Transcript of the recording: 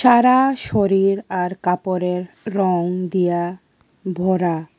সারা শরীর আর কাপড়ের রং দিয়া ভরা।